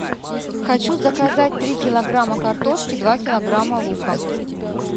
хочу заказать три килограмма картошки два килограмма лука